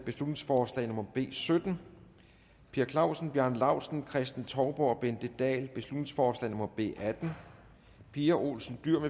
beslutningsforslag nummer b sytten per clausen bjarne laustsen kristen touborg og bente dahl beslutningsforslag nummer b atten pia olsen dyhr